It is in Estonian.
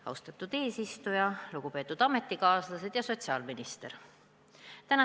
Austatud eesistuja, lugupeetud ametikaaslased ja sotsiaalminister!